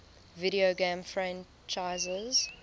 video game franchises